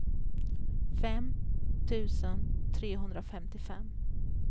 fem tusen trehundrafemtiofem